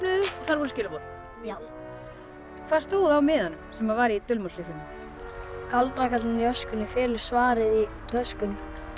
þar voru skilaboð já hvað stóð á miðanum sem var í dulmálslyklinum galdrakarlinn í öskunni felur svarið í töskunni